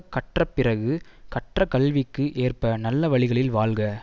கற்ற பிறகு கற்ற கல்விக்கு ஏற்ப நல்ல வழிகளில் வாழ்க